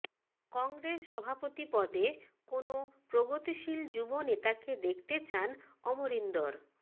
কংগ্রেস সভাপতি পদে কোনও প্রগতিশীল যুব নেতাকে দেখতে চান অমরিন্দর